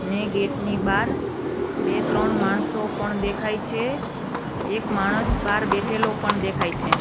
ને ગેટ ની બાર બે ત્રણ માણસો પણ દેખાય છે એક માણસ બાર બેઠેલો પણ દેખાય છે.